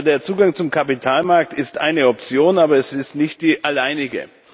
Der Zugang zum Kapitalmarkt ist eine Option, aber es ist nicht die alleinige.